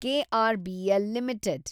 KRBL limited